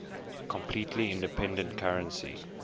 completely independent currency